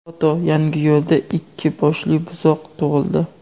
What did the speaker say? Foto: Yangiyo‘lda ikki boshli buzoq tug‘ildi.